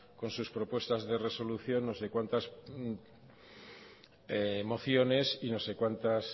con sus propuestas de resolución no sé cuántas mociones y no sé cuántas